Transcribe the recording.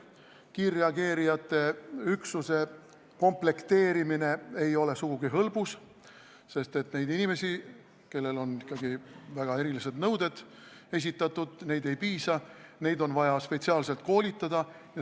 Kiirreageerijate üksuse komplekteerimine ei ole sugugi hõlbus, sest nendest inimestest, kellele ikkagi esitatakse väga erilisi nõudeid, praegu ei piisa, neid on vaja spetsiaalselt koolitada.